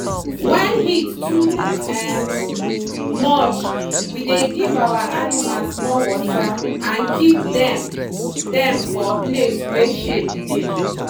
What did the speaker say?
when heat too um much we dey give our animals more water and keep dem dem for place wey shade dey.